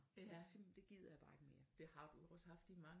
Det vil jeg det gider jeg bare ikke mere